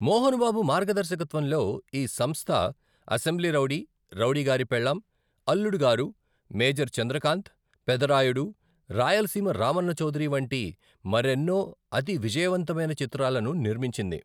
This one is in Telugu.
మోహన్ బాబు మార్గదర్శకత్వంలో ఈ సంస్థ అసెంబ్లీ రౌడీ, రౌడీగారి పెళ్ళం, అల్లుడు గారు, మేజర్ చంద్రకాంత్, పెదరాయుడు, రాయలసీమ రామన్న చౌదరి వంటి మరి ఎన్నోఅతి విజయవంతమైన చిత్రాలను నిర్మించింది.